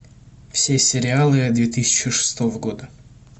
все сериалы две тысячи шестого года